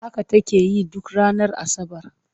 Haka take yi duk ranar Asabar.